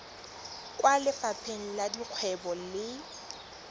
kwa lefapheng la dikgwebo le